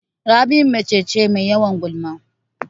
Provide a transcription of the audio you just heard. Rabi mace ce Mai yawan gulma